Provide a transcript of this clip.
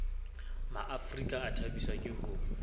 maafrika a thabiswa ke ho